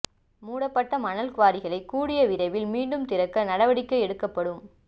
மூடப்பட்ட மணல் குவாரிகளை கூடிய விரைவில் மீண்டும் திறக்க நடவடிக்கை எடுக்கப்படும்